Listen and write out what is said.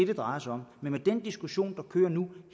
det drejer sig om men med den diskussion der kører nu